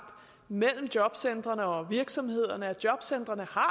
mellem jobcentrene og virksomhederne og at jobcentrene har